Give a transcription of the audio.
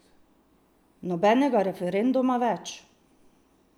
Nobenega referenduma več!